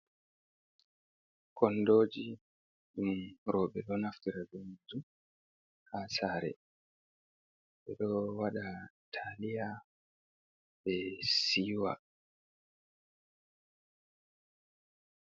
Kondoji ɗum roɓɓe ɗo naftirta be majjum ha sare ɓeɗo waɗa taliya ɓe siwa.